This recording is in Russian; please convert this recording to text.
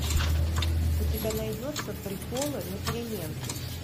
у тебя найдется приколы на переменке